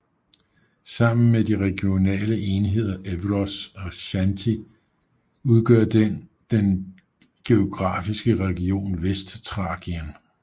Sammen med de regionale enheder Evros og Xanthi udgør den den geografiske region Vestthrakien